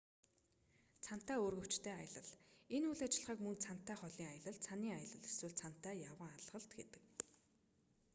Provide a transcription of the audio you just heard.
цанатай үүргэвчтэй аялал энэ үйл ажиллагааг мөн цанатай холын аялал цанын аялал эсвэл цанатай явган алхалт гэдэг